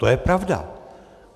To je pravda.